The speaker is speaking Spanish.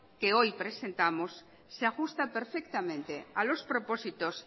que hoy presentamos se ajusta perfectamente a los propósitos